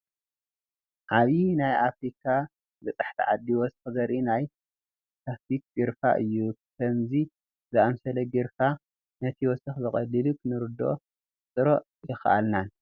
ዓብዪ ናይ ኣፍሪካ በፃሕቲ ዓዲ ወሰኽ ዘርኢ ናይ ስታትስቲክስ ግራፍ እዩ፡፡ ከምዚ ዝኣምሰለ ግራፍ ነቲ ወሰኽ ብቐሊሉ ክንርድኦን ክነነፃፅሮ የኽእለና፡፡